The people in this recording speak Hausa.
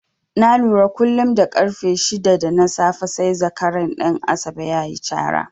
Na lura kullum da ƙarfe shida na safe sai zakaran Ɗan Asabe ya yi cara.